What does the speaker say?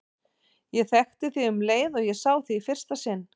Ég þekkti þig um leið og ég sá þig í fyrsta sinn.